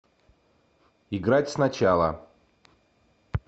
играть сначала